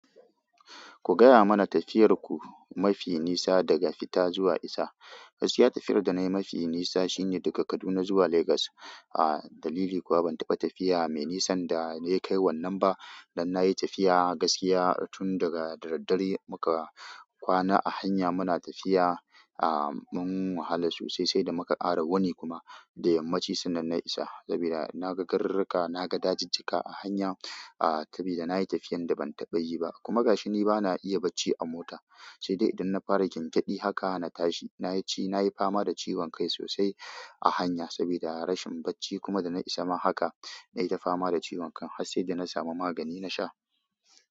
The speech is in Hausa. Ku gaya mana tafiyar ku mafi nisa daga fita zuwa isa. Gaskiya tafiyar da na yi mafi nisa shine daga Kaduna zuwa Legas. A dalili kuwa ban taɓa tafiya mai nisan da na kai wannan ba. Dan na yi tafiya gaskiya tun daga dare, muka kwana a hanya muna tafiya ah mun wahala sosai sai da muka ƙara wuni kuma da yammaci sannan na isa. Sabida na ga garurruka, na ga dajijjika a hanya a sabida na yi tafiyan da ban taɓa yi ba. Kuma gashi ni bana iya bacci a mota, sai dai idan na fara gyangyaɗi haka na tashi. Nayi ci, nayi fama da ciwon kai sosai. A hanya sabida rashin bacci kuma da na isa ma haka na yi ta fama da ciwon kai har sai da na samu magani na sha.